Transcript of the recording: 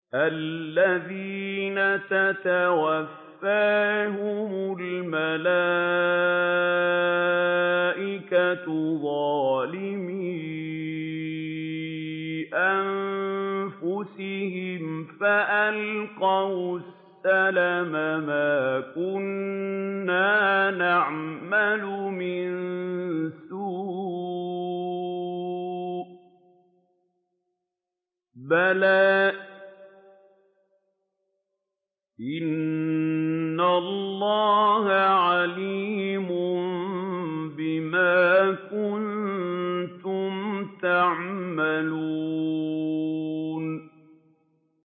الَّذِينَ تَتَوَفَّاهُمُ الْمَلَائِكَةُ ظَالِمِي أَنفُسِهِمْ ۖ فَأَلْقَوُا السَّلَمَ مَا كُنَّا نَعْمَلُ مِن سُوءٍ ۚ بَلَىٰ إِنَّ اللَّهَ عَلِيمٌ بِمَا كُنتُمْ تَعْمَلُونَ